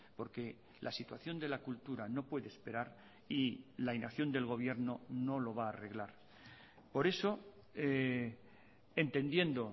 porque la situación de la cultura no puede esperar y la inacción del gobierno no lo va a arreglar por eso entendiendo